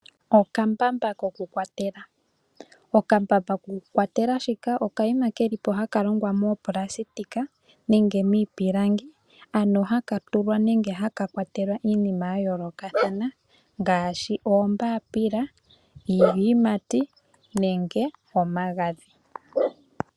Okambamba koku kwatela. Okambamba koku kwatela haka okanima kelipo hoka ha kalongwa moonayilona nenge miipilangi ,ano haka tulwa nenge haka kwatelwa iinima ya yoolokathana ngaashi oombapila nenge, iiyimati nenge omagadhi .